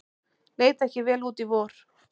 Leit ekki vel út í vor